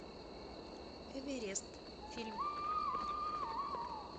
эверест фильм